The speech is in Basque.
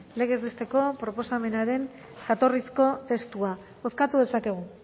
legez besteko proposamenaren jatorrizko testua bozkatu dezakegu